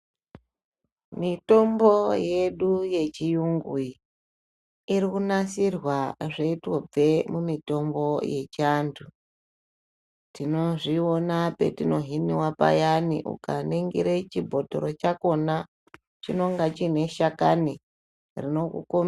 Mitombo yedu yechiyungu iyi, irikunasirwa zveitobve mumitombo yechiantu. Tinozviona petinohiniwa payani Ukaningire chibhotoro chachoni chinonga chine shakani rinokukombi...